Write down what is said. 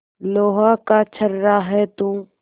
लोहा का छर्रा है तू